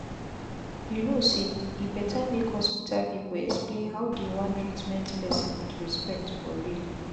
you no say e better make hospital people explain how dey wan treatment person with respect for real.